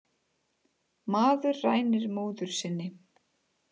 Maður rænir móður sinni